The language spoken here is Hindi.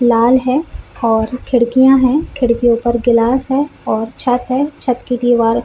लाल है और खिड़कियाँ है खिड़कियो पर गिलास है और छत्त है छत्त की दिवार --